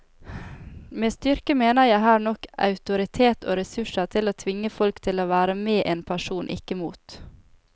Med styrke mener jeg her nok autoritet og ressurser til å kunne tvinge folk til å være med en person, ikke mot.